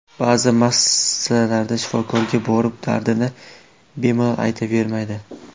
Ba’zi masalalarda shifokorga borib dardini bemalol aytavermaydi.